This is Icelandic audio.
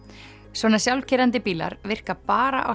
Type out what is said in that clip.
svona sjálfkeyrandi bílar virka bara á